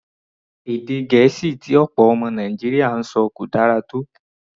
Èdè Gẹ̀ẹ́sì tí ọ̀pọ̀ ọmọ Nàìjíríà ń sọ kò dára tó.